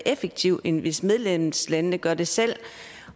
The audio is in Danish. effektivt end hvis medlemslandene gør det selv